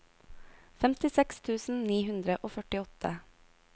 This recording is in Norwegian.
femtiseks tusen ni hundre og førtiåtte